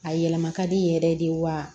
A yɛlɛma ka di yɛrɛ de wa